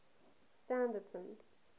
standerton